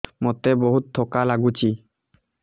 ମୋତେ ବହୁତ୍ ଥକା ଲାଗୁଛି